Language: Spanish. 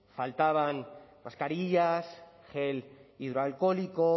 faltaban mascarillas gel hidroalcohólico